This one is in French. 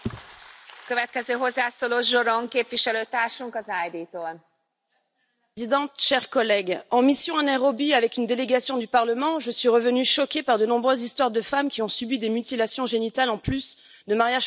Madame la Présidente, chers collègues, en mission à Nairobi avec une délégation du Parlement, je suis revenue choquée par de nombreuses histoires de femmes qui ont subi des mutilations génitales en plus de mariages forcés.